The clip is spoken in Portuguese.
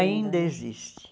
Ainda existe.